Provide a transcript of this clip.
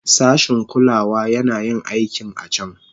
Sashin kulawa yana yin aikin a can.